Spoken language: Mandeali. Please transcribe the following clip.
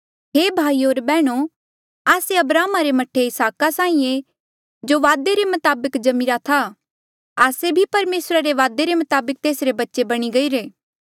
हे भाईयो होर बैहणो आस्से अब्राहमा रे मह्ठे इसहाका साहीं ऐें जो वादे रे मताबक जम्मिरा था आस्से भी परमेसरा रे वादे रे मताबक तेसरे बच्चे बणी गईरे